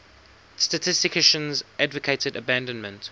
statisticians advocated abandonment